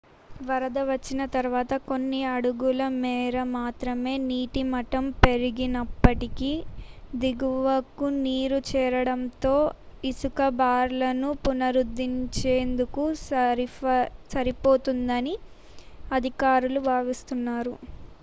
వరద వచ్చిన తర్వాత కొన్ని అడుగుల మేర మాత్రమే నీటిమట్టం పెరిగినప్పటికీ దిగువకు నీరు చేరడంతో ఇసుక బార్లను పునరుద్ధరించేందుకు సరిపోతుందని అధికారులు భావిస్తున్నారు